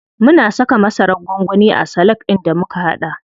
Mun saka masarar gwangwani a salak ɗin da muka haɗa.